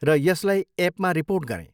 र यसलाई एपमा रिपोर्ट गरेँ।